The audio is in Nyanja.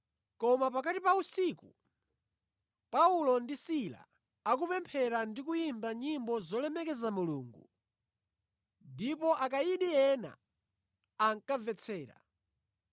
Koma pakati pa usiku Paulo ndi Sila ankapemphera ndi kuyimba nyimbo zolemekeza Mulungu, ndipo akayidi ena ankamvetsera.